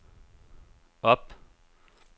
op